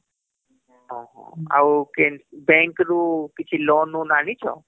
ହଁ ହଁ ଆଉ କେଁ bank ରୁ କିଛି loan ବୋନ ଆଣିଛ